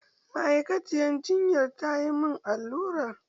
Ma'aikaciyar jinyan tayi min allura.